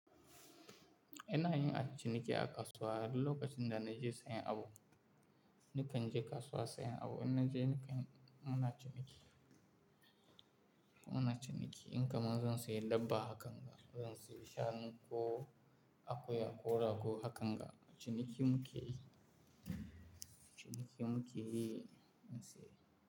Ina yin aikin ciniki a kasuwa duk lokacin da na je sayan abu. Nikan je kasuwa sayan abu, in na je nikan muna ciniki, muna ciniki. In kamar zan sayi dabba, hakan ga. Zan sayi shanu ko akuya ko rago, hakan ga ciniki muke yi. Ciniki muke yi in sayi.